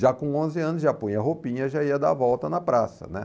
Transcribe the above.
Já com onze anos, já punha roupinha, já ia dar volta na praça, né?